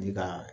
Ni ka